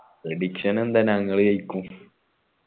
prediction എന്താ ഞങ്ങൾ ജെയിക്കും